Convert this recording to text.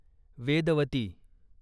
Vedvati